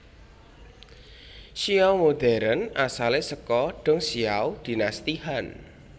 Xiao modern asale saka Dongxiao Dinasti Han